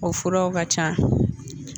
O furaw ka can.